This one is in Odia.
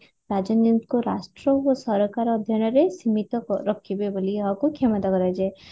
ରାଜନୈତିକ ରାଷ୍ଟ୍ର ଓ ସରକାର ଅଧ୍ୟୟନରେ ସୀମିତ ରଖିବେ ବୋଲି ଏହାକୁ କ୍ଷମତା କରାଯାଏ